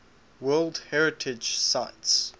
world heritage sites